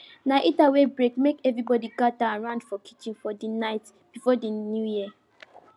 na heater wey break make everybody gather around for kitchen for the night before new year